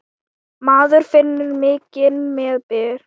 Maður finnur mikinn meðbyr.